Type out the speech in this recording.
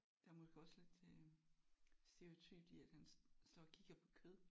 Der er måske også lidt øh stereotypt i at han står og kigger på kød